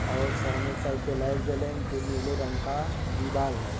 और सामने एक साइक पे लाइट जलेन जो नीले रंग का दीवाल है।